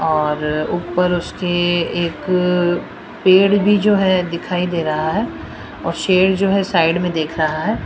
और ऊपर उसके एक पेड़ भी जो है दिखाई दे रहा है और शेर जो है साइड में देख रहा है।